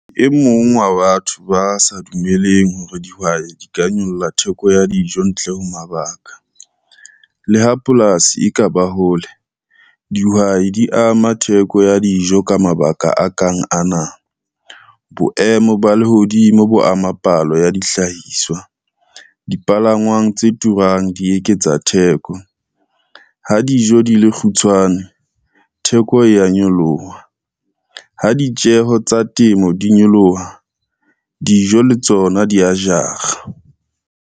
E mong wa batho ba sa dumelleng hore dihwai di ka nyolla theko ya dijo ntle ho mabaka. Le ha polasi e ka ba hole dihwai di ama theko ya dijo ka mabaka a kang ana, boemo ba lehodimo bo amang palo ya dihlahiswa, dipalangwang tse turang di eketsa theko, ha dijo di le kgutshwane theko ya nyoloha, ha ditjeho tsa temo di nyoloha dijo le tsona dia jara.